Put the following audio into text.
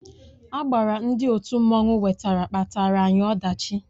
Agbara ndị òtù mmanụ wetara kpataara anyị ọdachi